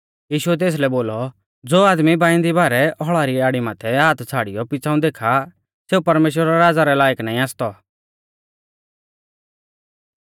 यीशुऐ तेसलै बोलौ ज़ो आदमी बाइंदी बारै हौल़ा री आड़ी माथै हाथ छ़ाड़ियौ पिछ़ाऊं देखा सेऊ परमेश्‍वरा रै राज़ा रै लायक नाईं आसतौ